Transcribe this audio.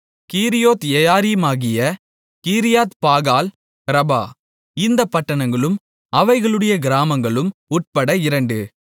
கீரியாத்யெயாரீமாகிய கீரியாத்பாகால் ரபா இந்தப் பட்டணங்களும் அவைகளுடைய கிராமங்களும் உட்பட இரண்டு